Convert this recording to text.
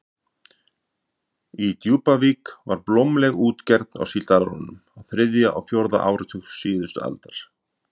Í Djúpavík var blómleg útgerð á síldarárunum á þriðja og fjórða áratug síðustu aldar.